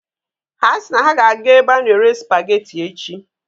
Ha si na ha ga-aga ebe a na-ere supageti echi.